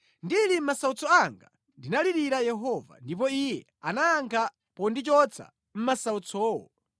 Ndili mʼmasautso anga ndinalirira Yehova, ndipo Iye anayankha pondichotsa mʼmasautsowo.